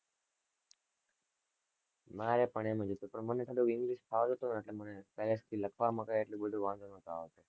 મારે પણ એમ જ હતું પણ મને english ફાવ્યું તું ને એટલે મને લખવા માં કાઈ એટલો બધો વાંધો નાતો આવ્યો.